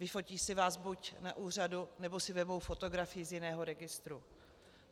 Vyfotí si vás buď na úřadu nebo si vezmou fotografii z jiného registru.